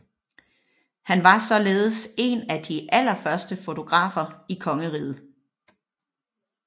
Han var således en af de allerførste fotografer i kongeriget